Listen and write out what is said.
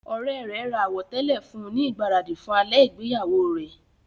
Ọ̀rẹ́ rẹ̀ ra àwọ̀tẹ́lẹ̀ fún un ní ìgbáradì fún alẹ́ ìgbéyàwó rẹ.